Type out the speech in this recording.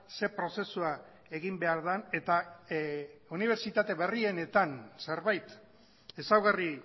ze prozesua egin behar den eta unibertsitate berrienetan zerbait ezaugarri